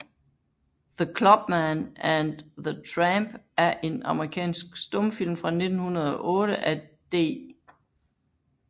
The Clubman and the Tramp er en amerikansk stumfilm fra 1908 af D